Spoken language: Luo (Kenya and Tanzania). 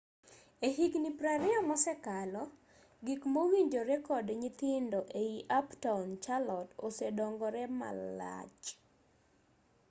e higni 20 mosekalo gik mowinjore kod nyithindo ei uptown charlotte osedongore malach